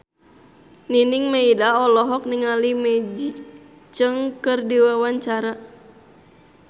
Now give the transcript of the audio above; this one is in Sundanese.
Nining Meida olohok ningali Maggie Cheung keur diwawancara